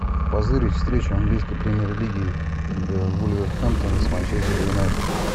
позырить встречу английской премьер лиги вулверхэмптона с манчестер юнайтед